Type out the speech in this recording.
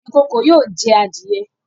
Ikòkò yóò jẹ́ àdìẹ̀